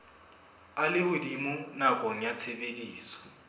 a lehodimo nakong ya tshebediso